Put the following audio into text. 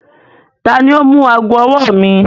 Tani o mú agọ̀-ọwọ̀ mi?